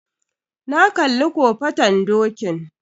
Na kalli kofaton dokin